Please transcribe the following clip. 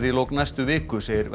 í lok næstu viku segir